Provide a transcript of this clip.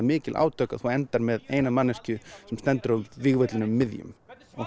mikil átök þú endar með eina manneskju sem stendur á vígvellinum miðjum